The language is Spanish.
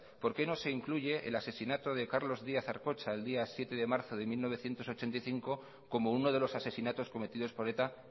por qué no se incluye el asesinato de carlos díaz arcocha el día siete de marzo de mil novecientos ochenta y cinco como uno de los asesinatos cometidos por eta